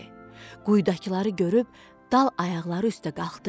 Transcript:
Quyudakıları görüb dal ayaqları üstə qalxdı.